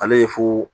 Ale ye fo